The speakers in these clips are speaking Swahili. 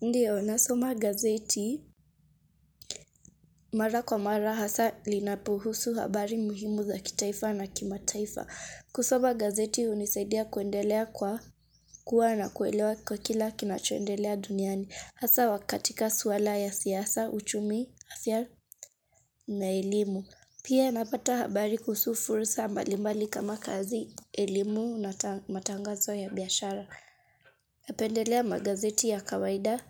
Ndio, nasoma gazeti mara kwa mara hasa linapohusu habari muhimu za kitaifa na kimataifa. Kusoma gazeti hunisaidia kuendelea kwa kuwa na kuelewa kwa kila kinachoendelea duniani. Hasa wa katika suala ya siasa, uchumi, afya na elimu. Pia napata habari kuhusu fursa mbalimbali kama kazi elimu na matangazo ya biashara. Napendelea magazeti ya kawaida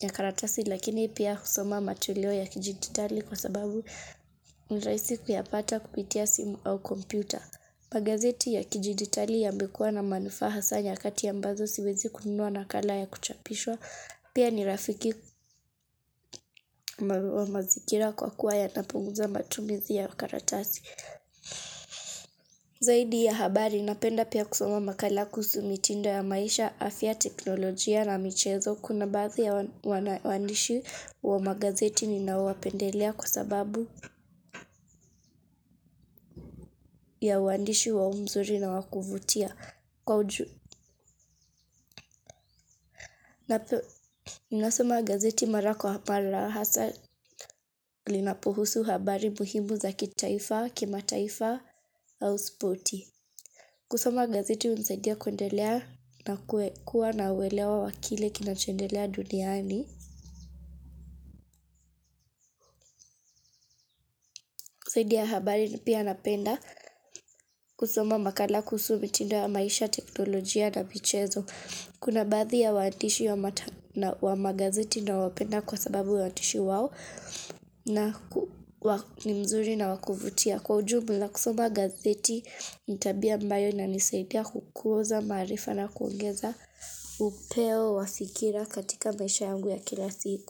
ya karatasi lakini pia husoma matulio ya kijiditali kwa sababu ni rahisi kuyapata kupitia simu au kompyuta. Magazeti ya kijiditali yamekuwa na manufaa hasa nyakati ambazo siwezi kununua nakala ya kuchapishwa. Pia ni rafiki wa mazingira kwa kuwa yanapunguza matumizi ya karatasi. Zaidi ya habari napenda pia kusoma makala kuhusu mitindo ya maisha, afya, teknolojia na michezo. Kuna baadhi ya wanawaandishi wa magazeti ninaowapendelea kwa sababu ya uandishi wao mzuri na wa kuvutia. Ninasoma gazeti mara kwa mara hasa linapohusu habari muhimu za kitaifa, kimataifa au sporti. Kusoma gazeti hunisaidia kuendelea na kuwa na uelewa wa kile kinachoendelea duniani. Kusoma makala kuhusu mitindo ya maisha, teknolojia na michezo. Kuna baadhi ya waandishi wa magazeti nawapenda kwa sababu uadishi wao na ni mzuri na wa kuvutia. Kwa ujumla kusoma gazeti ni tabia ambayo inanisaidia kukuza maarifa na kuongeza upeo wa fikira katika maisha yangu ya kila siku.